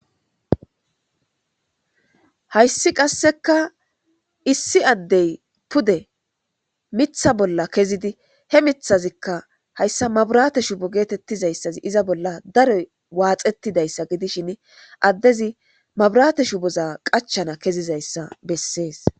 Hayssi qasseka issi addey pude mitha bolla kezidi he mithazikka hayssa maburate shubo geetettizayssazi iza bolla daroy waaxetidayssa gidishin addezi maburate shuboza qachana kezizayssa bessees.